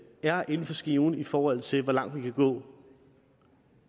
er inden for skiven i forhold til hvor langt vi kan gå